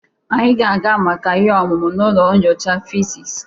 Anyị ga-aga maka ihe omume n'ụlọ nyocha fiziks.